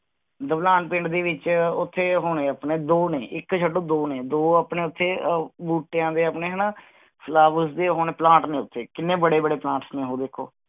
ਦੋਹਲਾਂ ਪਿੰਡ ਦੇ ਵਿਚ ਉਥੇ ਹੋਣੇ ਦੋ ਨੇ ਇਕ ਛੱਡੋ ਦੋ ਨੇ ਦੋ ਆਪਣੇ ਉਥੇ ਆਹ ਬੂਟਿਆਂ ਦੇ ਆਪਣੇ ਹਣਾ flowers ਦੇ plant ਨੇ ਉਥੇ, ਕਿੰਨੇ ਬੜੇ ਬੜੇ plants ਨੇ ਉਹ ਦੇਖੋ